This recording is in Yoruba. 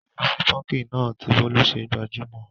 Ìrísí púnkì náà tí bólú ṣe gbajúmọ̀,